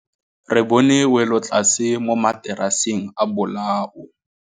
Re bone wêlôtlasê mo mataraseng a bolaô.